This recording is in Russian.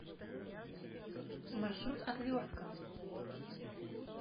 маршрут отвертка